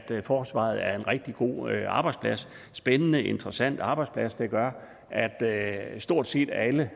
forsvaret er en rigtig god arbejdsplads spændende og interessant arbejdsplads der gør at at stort set alle